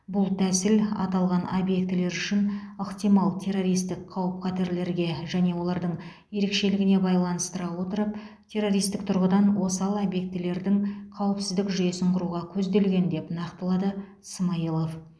бұл тәсіл аталған объектілер үшін ықтимал террористік қауіп қатерлерге және олардың ерекшелігіне байланыстыра отырып террористік тұрғыдан осал объектілердің қауіпсіздік жүйесін құруға көзделген деп нақтылады смайылов